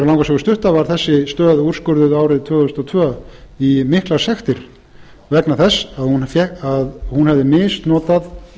sögu stutta var þessi stöð úrskurðuð árið tvö þúsund og tvö í miklar sektir vegna þess að hún hefði misnotað